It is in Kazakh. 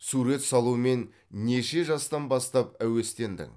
сурет салумен неше жастан бастап әуестендің